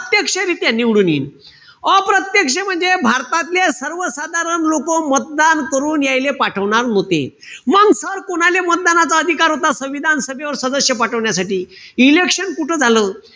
रित्या निवडून येईन. अप्रत्यक्ष म्हणजे भारतातले सर्वसाधारण लोकं मतदान करून यायिले पाठवणार होते. मंग sir कोणाले मतदानाचा अधिकार होता, संविधान सभेवर सदस्य पाठवण्यासाठी? election कुठं झालं?